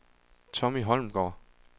Tommy Holmgaard